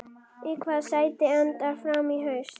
Í hvaða sæti endar Fram í haust?